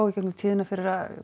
í gegnum tíðina fyrir að